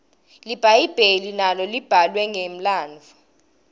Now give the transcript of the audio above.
libhayibheli nalo libhalwe ngemlandvo